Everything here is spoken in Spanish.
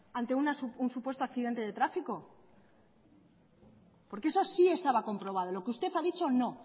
ante un supuesto accidente de tráfico porque eso sí estaba comprobado lo que usted ha dicho no